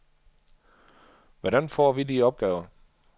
Hvordan får vi de opgaver?